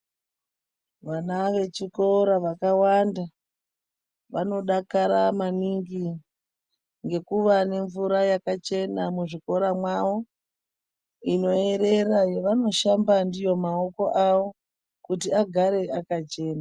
Vana vechikora vakawanda, vanodakara maningi ngekuwa nemvura yakachena muzvikora mwawo, inoerera yavanoshamba ndiyo maoko awo, kuti agare akachena.